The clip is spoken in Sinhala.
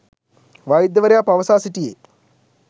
වෛද්‍යවරයා පවසා සිටියේ